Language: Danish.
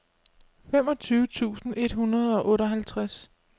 femogtyve tusind et hundrede og otteoghalvtreds